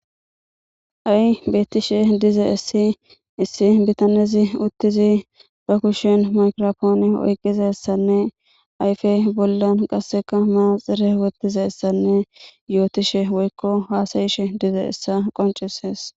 Ha'i betishe dizaysi issi biitanezi uttidi ba kushshen maygirappone oyqqidayssanne ayfe bolla manaxire woththidayssane hasa'ishshe dizayssa qonccises.